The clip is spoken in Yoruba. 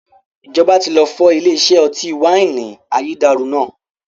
Ìjọba tí lọ fọ́ ilé iṣẹ́ ọtí wáìnì ayédèrú náà